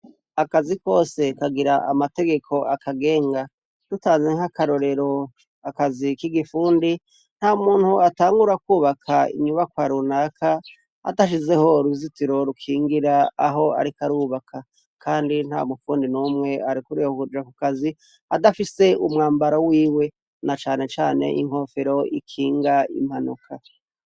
Akazi kwose kagira amategeko akagenga. Dutanze nk'akarorero akazi k'igifundi, ntamuntu atangura kwubaka inyubakwa runaka adashizeho uruzitiro rukingira aho ariko arubaka. Kandi ntamufundi n'umwe arekuriwe kuja ku kazi adafise umwambaro wiwe na cane cane inkofero ikinga impanuka.